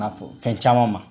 fɔ fɛn caman ma